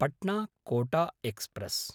Patna-Kota express